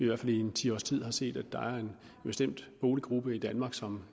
hvert fald i en ti års tid har set at der er en bestemt boliggruppe i danmark som